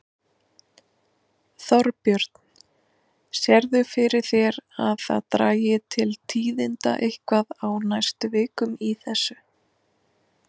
Þorbjörn: Sérðu fyrir þér að það dragi til tíðinda eitthvað á næstu vikum í þessu?